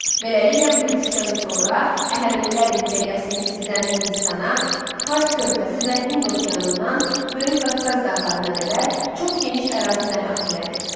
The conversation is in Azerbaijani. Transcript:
Beləliklə bu yürüşdən sonra Əhəmənilər imperiyası Misirdən Hindistana, Fars körfəzi və Hind okeanından Böyük Qafqaz dağlarına qədər çox geniş ərazini əhatə elədi.